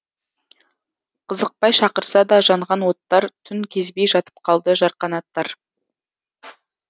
қызықпай шақырса да жанған оттар түн кезбей жатып қалды жарқанаттар